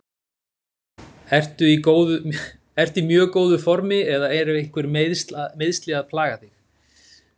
Ertu í mjög góðu formi eða eru einhver meiðsli að plaga þig?